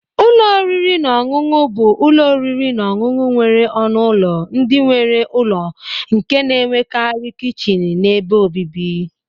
- Ụlọ oriri na ọṅụṅụ bụ ụlọ oriri na ọṅụṅụ nwere ọnụ ụlọ ndị nwere ụlọ nke na-enwekarị kichin na ebe obibi.